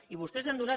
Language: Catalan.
i vostès han donat